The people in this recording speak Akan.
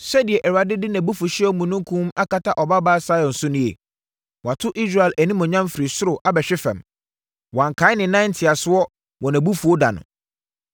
Sɛdeɛ Awurade de nʼabufuhyeɛ omununkum akata Ɔbabaa Sion so nie? Wato Israel animuonyam firi soro abɛhwe fam; wankae ne nan ntiasoɔ wɔ nʼabufuo da no.